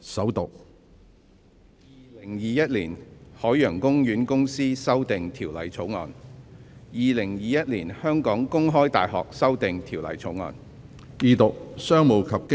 《2021年海洋公園公司條例草案》《2021年香港公開大學條例草案》。